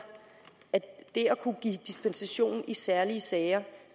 at det at kunne give dispensation i særlige sager